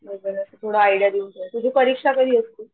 थोडंसं आयडियां देऊन ठेव तुझी परीक्षा कधी असते?